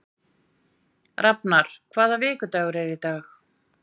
Rafnar, hvaða vikudagur er í dag?